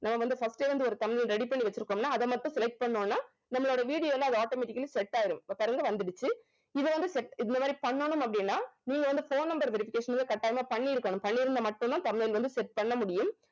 நம்ம வந்து first ஏ வந்து ஒரு thumbnail ready பண்ணி வெச்சிருக்கோம்னா அத மட்டும் select பண்ணோம்னா நம்மளோட video ல அது automatically set ஆயிடும் இப்ப பாருங்க வந்துடுச்சு இத வந்து set இந்த மாதிரி பண்ணனும் அப்படினா நீங்க வந்து phone number verification வந்து கட்டாயமா பண்ணியிருக்கணும் பண்ணி இருந்தா மட்டும் தான் thumbnail வந்து set பண்ண முடியும்